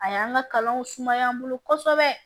A y'an ka kalanw sumaya n bolo kosɛbɛ